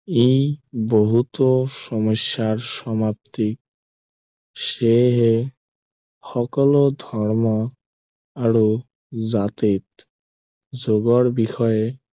ই বহুতো সমস্য়াৰ সমাপ্তি সেয়েহে সকলো ধৰণৰ আৰু যাতে যোগৰ বিষয়ে